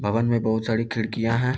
भवन में बहुत सारी खिड़किया है ।